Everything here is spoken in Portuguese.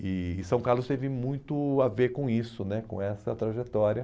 E e São Carlos teve muito a ver com isso né, com essa trajetória.